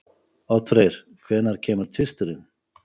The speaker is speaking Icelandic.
Oddfreyr, hvenær kemur tvisturinn?